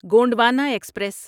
Gondwana express